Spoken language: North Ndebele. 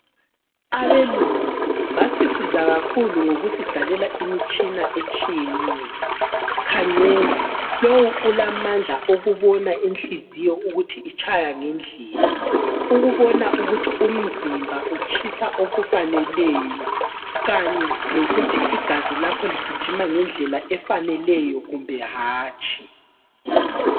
Abelungu basisiza kakhulu ngokusidalela imitshina etshiyeneyo .Khangela lowu ulamandla okubona Inhliziyo ukuthi itshaya ngendlela ,ukubona ukuthi umzimba utshisa okufaneleyo kanye lokuthi igazi lakho ligijima ngendlela efaneleyo kumbe hatshi.